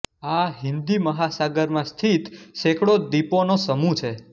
આ હિંદી મહાસાગરમાં સ્થિત સૈકડ઼ોં દ્વીપોંનો સમૂહ છે